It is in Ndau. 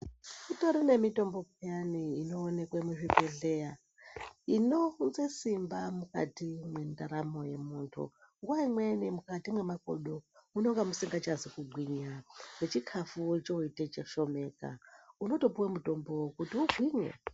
Kutori nemitombo peyani inoonekwa muzvibhedhleya inounze simba mukati mwendaramo yemuntu nguwa imweni mukati mwemakodo munenge musikachazi kugwinya nechikafu choite chishomeka unotopuwe mutombo kuti ugwinye.